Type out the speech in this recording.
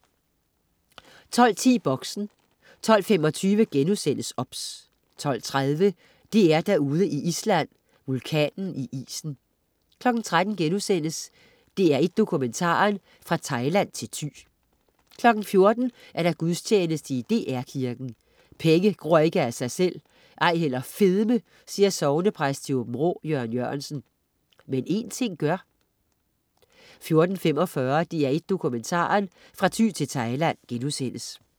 12.10 Boxen 12.25 OBS* 12.30 DR-Derude i Island. Vulkanen i isen 13.00 DR1 Dokumentaren: Fra Thailand til Thy* 14.00 Gudstjeneste i DR Kirken. "Penge gror ikke af sig selv, ej heller fedme", siger sognepræst i Aabenraa, Jørgen Jørgensen, "men en ting gør" 14.45 DR1 Dokumentaren. Fra Thy til Thailand*